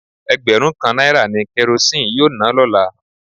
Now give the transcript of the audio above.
Egberun kan naira ni Kerosene yoo na lola